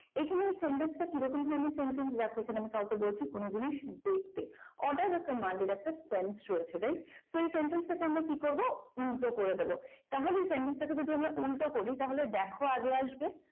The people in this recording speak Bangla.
এই যে এই sentence টা কিরকম ধরনের sentence লাগবে এখানে আমি কাউকে বলছি কোন জিনিস দেখতে order বা command এর একটা spence রয়েছে right তো এই sentence থেকে আমরা কি করব উল্টো করে দেবো তাহলে আমরা যদি এই sentence টাকে যদি আমরা উল্টো করি তাহলে দেখো আগে আসবে